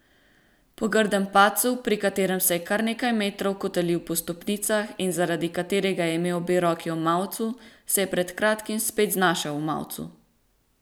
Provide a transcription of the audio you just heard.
Po grdem padcu, pri katerem se je kar nekaj metrov kotalil po stopnicah in zaradi katerega je imel obe roki v mavcu, se je pred kratkim spet znašel v mavcu.